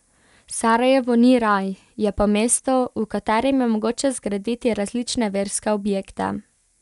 Sarajevo ni raj, je pa mesto, v katerem je mogoče zgraditi različne verske objekte.